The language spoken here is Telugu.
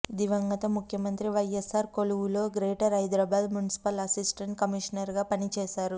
దివంగత ముఖ్యమంత్రి వైఎస్సార్ కొలువులో గ్రేటర్ హైదరాబాద్ మున్సిపల్ అసిస్టెంట్ కమిషనర్గా పనిచేశారు